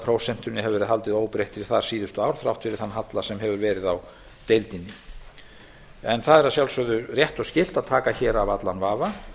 iðgjaldaprósentunni hefur verið haldið þar óbreyttri síðustu ár þrátt fyrir þann halla sem hefur verið á deildinni það er að sjálfsögðu rétt og skylt að taka hér af allan vafa